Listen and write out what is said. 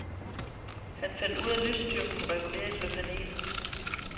Han fandt ud af at lysstyrken kunne reguleres ved panelet.